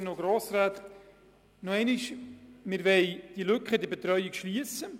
Wir beabsichtigen, die Lücke in der Betreuung zu schliessen.